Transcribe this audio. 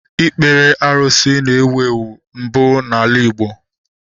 Ikpere arụsị na-ewu ewu mbụ n'ala Igbo